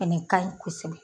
Fɛnɛ ka ɲi kosɛbɛ.